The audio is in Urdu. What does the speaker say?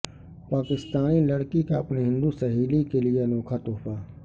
پاکستانی لڑکی کا اپنی ہندو سہیلی کے لیے انوکھا تحفہ